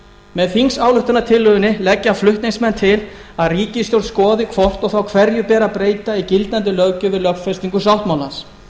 með þingsályktunartillögunni leggja flutningsmenn til að ríkisstjórn skoði hvort og þá hverju ber að breyta í gildandi löggjöf við lögfestingu sáttmálans